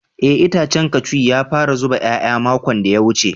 Eh itacen cashew ya fara zuba yaya makon da ya wuce.